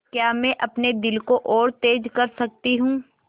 क्या मैं अपने दिल को और तेज़ कर सकती हूँ